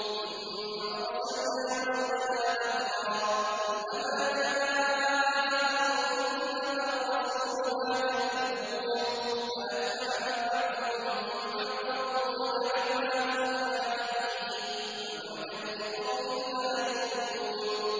ثُمَّ أَرْسَلْنَا رُسُلَنَا تَتْرَىٰ ۖ كُلَّ مَا جَاءَ أُمَّةً رَّسُولُهَا كَذَّبُوهُ ۚ فَأَتْبَعْنَا بَعْضَهُم بَعْضًا وَجَعَلْنَاهُمْ أَحَادِيثَ ۚ فَبُعْدًا لِّقَوْمٍ لَّا يُؤْمِنُونَ